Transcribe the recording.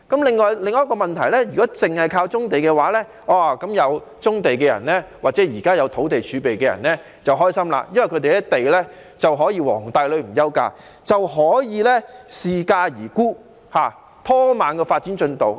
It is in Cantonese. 另一個問題是，如果單靠棕地，那麼擁有棕地的人或目前有土地儲備的人便會很開心，因為他們的地可以"皇帝女唔憂嫁"，待價而沽、拖慢發展進度。